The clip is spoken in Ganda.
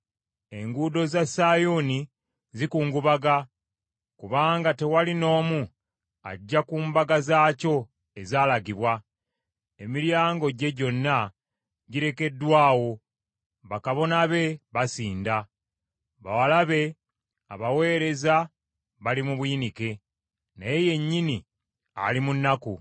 Enguudo za Sayuuni zikungubaga, kubanga tewali n’omu ajja ku mbaga zaakyo ezaalagibwa. Emiryango gye gyonna girekeddwa awo, bakabona be, basinda; bawala be abaweereza bali mu buyinike, naye yennyini ali mu nnaku.